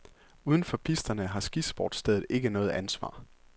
Udenfor pisterne har skisportsstedet ikke noget ansvar.